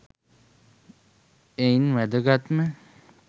එයින් වැදගත්ම